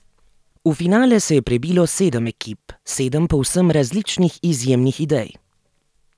V finale se je prebilo sedem ekip, sedem povsem različnih izjemnih idej.